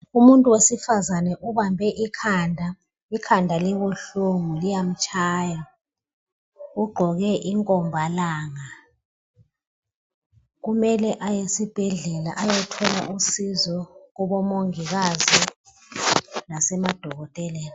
Umuntu wesifazana ubambe ikhanda, ikhanda libuhlungu liyamtshaya. Ugqoke inkombalanga kumele aye esibhedlela ayethola usizo kubomongikazi lasemadokoteleni